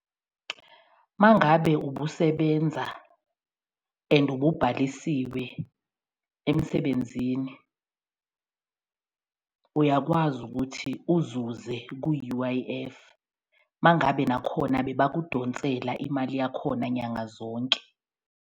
Uma ngabe ubusebenza and ububhalisiwe emsebenzini uyakwazi ukuthi uzuze ku-U_I_F, uma ngabe nakhona bebakudonsela imali yakhona nyanga zonke.